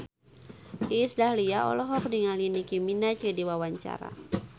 Iis Dahlia olohok ningali Nicky Minaj keur diwawancara